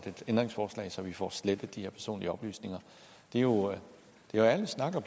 et ændringsforslag så vi får slettet de her personlige oplysninger det er jo ærlig snak at